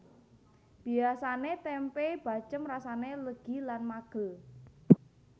Biasane tempe bacém rasane legi lan magel